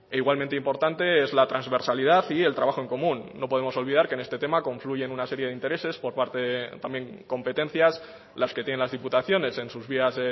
igualmente importante es la transversalidad y el trabajo en común no podemos olvidar que en este tema confluyen una serie de intereses por parte también competencias las que tienen las diputaciones en sus vías